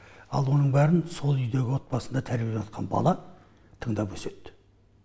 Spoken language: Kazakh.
ал оның бәрін сол үйдегі отбасында тәрбиеленіватқан бала тыңдап өседі